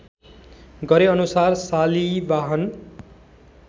गरे अनुसार शालिवाहन